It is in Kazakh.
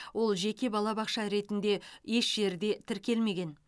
ол жеке балабақша ретінде еш жерде тіркелмеген